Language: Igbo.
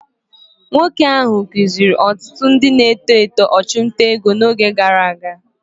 Nwoke ahụ akụziri ọtụtụ ndị na-eto eto ọchụnta ego n'oge gara aga.